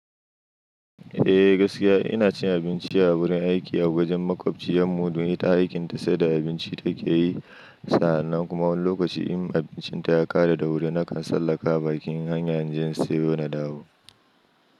Eh gaskiya ina cin abinci a wurin aiki a wajen maƙwabciyarmu don ita aikin ta sai da abinci ta ke yi sa'an nan kuma wani lokaci in abincinta ya ƙare da wuri nakan sallaka bakin hanya inje in siyo na dawo.